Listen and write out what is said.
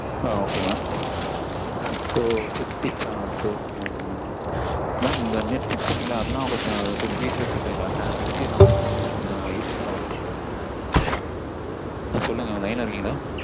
ஆஹ் ok mam. ஓ fifty channels ok mam mam இந்த net க்கு சொன்னிங்கல்ல அதுலாம் கொஞ்சம் detail ஆ சொல்றீங்களா? next year நா பண்ணும்போது கொஞ்சம் useful ஆ இருக்கும் எனக்கு. சொல்லுங்க line ல இருக்கீங்களா?